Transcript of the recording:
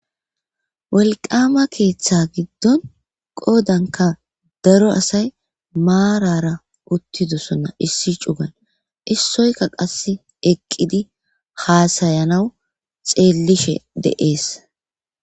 Wolqama keeththa giddon qoodanka daro asay maarara uttidosonna issi cugan issoyka qass eqqidi haasayanaw xeellishe deees.